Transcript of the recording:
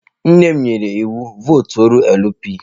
Nne m nyere iwu, votuoro LP!